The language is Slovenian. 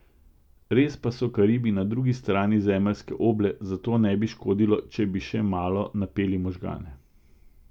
Res pa so Karibi na drugi strani zemeljske oble, zato ne bi škodilo, če bi še malo napeli možgane.